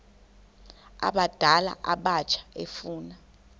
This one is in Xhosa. abadala abatsha efuna